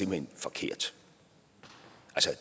hen forkert